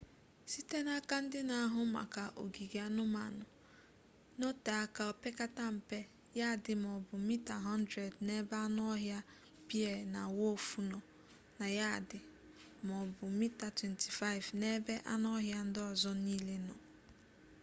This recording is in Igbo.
site n'aka ndị na-ahụ maka ogige anụmanụ nọtee aka opekata mpe yadị maọbụ mita 100 n'ebe anụ ọhịa bea na wulfu nọ na yadị maọbụ mita 25 n'ebe anụ ọhịa ndị ọzọ niile nọ